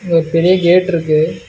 இங்க ஒரு பெரிய கேட்ருக்கு .